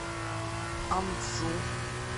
анджу